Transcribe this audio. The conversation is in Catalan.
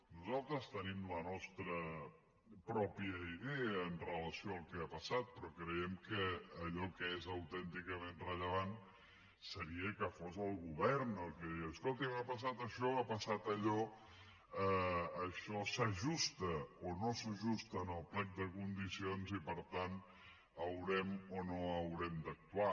nosaltres tenim la nostra pròpia idea amb relació al que ha passat però creiem que allò que és autènticament rellevant seria que fos el govern el que digués escolti m’ha passat això m’ha passat allò això s’ajusta o no s’ajusta al plec de condicions i per tant haurem o no haurem d’actuar